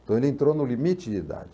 Então ele entrou no limite de idade.